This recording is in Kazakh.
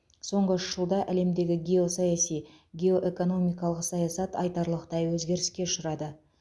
соңғы үш жылда әлемдегі геосаяси геоэкономикалық саясат айтарлықтай өзгеріске ұшырады